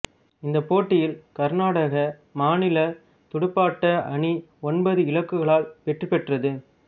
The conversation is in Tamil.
இந்தப் போட்டியில் கருநாடக மாநிலத் துடுப்பாட்ட அணி ஒன்பது இலக்குகளால் வெற்றி பெற்றது